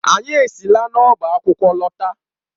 Anyị esila n'ọba akwụkwọ lọta.